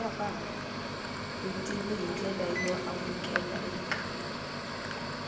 vutivi hi ndlela yo amukeleka